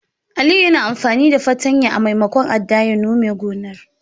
Aliyu yana amfani fartanya a maimakon adda ya nome gonar.